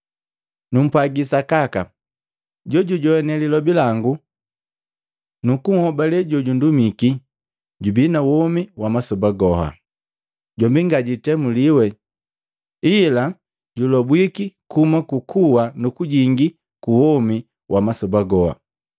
“Numpwaji sakaka, jojujoane lilobi langu nukuhobale jojundumiki, jubii na womi wa masoba goha. Jombi ngajwiitemuliwe, ila julobwiki kuhuma ku kuwa nukujingi kuwomi wa masoba goha.